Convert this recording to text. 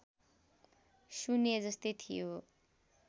शून्य जस्तै थियो